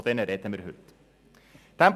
Von diesen sprechen wir heute.